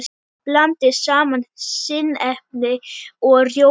Blandið saman sinnepi og rjóma.